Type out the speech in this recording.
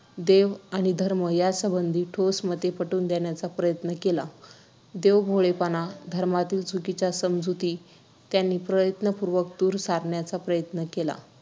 देव आणि धर्म यासंबंधी ठोस मते पटवून देण्याचा प्रयत्न केला. देवभोळेपणा धर्मातील चुकीच्या समजुती त्यांनी प्रयत्नपूर्वक दूर सारण्याचा प्रयत्न केला.